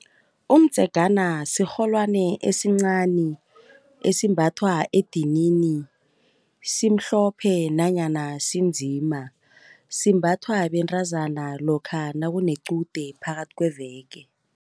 Umdzegana sirholwani esincani esimbathwa edinini, simhlophe nanyana sinzima. Simbathwa bentazana lokha nakunequde phakathi kweveke.